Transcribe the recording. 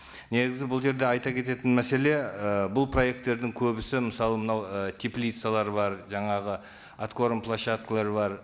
негізі бұл жерде айта кететін мәселе і бұл проекттердің көбісі мысалы мынау і теплицалар бар жаңағы откорм площадкалар бар